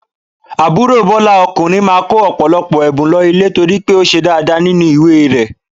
Àbúrò Bọ́lá ọkùnrin máa kó ọ̀pọ̀lọpọ̀ ẹ̀bùn lọ ilé torí pé ó ṣe dáadáa nínú ìwé rẹ̀.